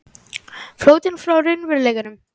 Flóttinn frá raunveruleikanum.